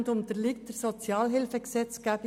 Dann unterliegt er der Sozialhilfegesetzgebung.